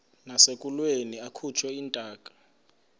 nasekulweni akhutshwe intaka